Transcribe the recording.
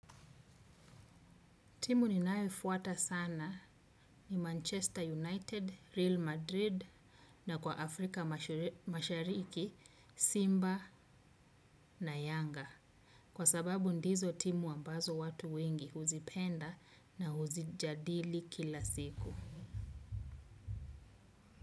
Timu ninayoifuata sana ni Manchester United, Real madrid na Kwa Afrika Mashariki Mashariki Simba na Yanga. Kwa sababu ndizo timu ambazo watu wengi huzipenda na huzijadili kila siku.